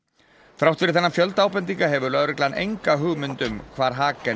þrátt fyrir þennan fjölda ábendinga hefur lögreglan enga hugmynd um hvar